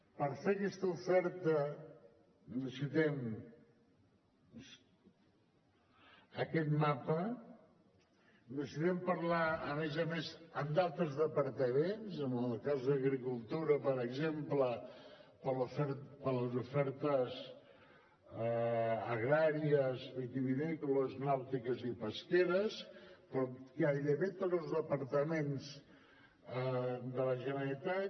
per fer aquesta oferta necessitem aquest mapa i necessitem parlar a més a més amb d’altres departaments en el cas d’agricultura per exemple per les ofertes agràries vitivinícoles nàutiques i pesqueres però amb gairebé tots els departaments de la generalitat